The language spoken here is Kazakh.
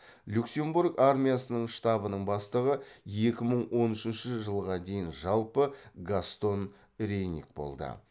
люксембург армиясының штабының бастығы екі мың он үшінші жылға дейін жалпы гастон рейниг болды